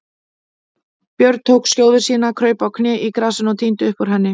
Björn tók skjóðu sína, kraup á kné í grasinu og tíndi upp úr henni.